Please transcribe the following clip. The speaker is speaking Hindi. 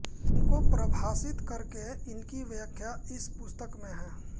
इनको परिभाषित करके इनकी व्याख्या इस पुस्तक में है